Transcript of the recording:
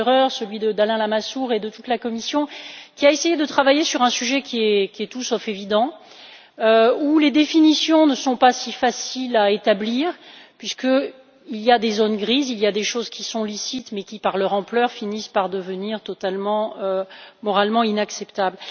Theurer, celui d'Alain Lamassoure et de toute la Commission, qui ont essayé de travailler sur un sujet qui est tout sauf évident, où les définitions ne sont pas si faciles à établir puisqu'il y a des zones grises, c'est à dire des choses qui sont licites mais qui, par leur ampleur, finissent par devenir totalement et moralement inacceptables.